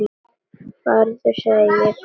Farðu sagði ég, hvæsir hann.